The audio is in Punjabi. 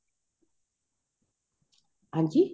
ਹਾਂਜੀ